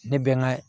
Ne bɛ n ka